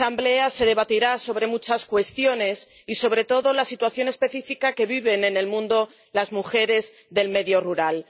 En esa asamblea se debatirá sobre muchas cuestiones y, sobre todo, acerca de la situación específica que viven en el mundo las mujeres del medio rural.